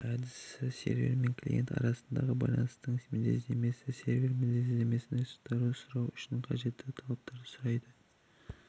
әдісі сервер мен клиент арасындағы байланыстың мінездемесін сервер мінездемесін ресурсты сұрау үшін қажетті талаптарды сұрайды